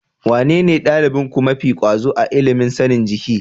Wanene ɗalibinku mafi ƙwazo a ilimin sanin jiki?